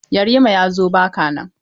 Yarima ya zo ba ka nan.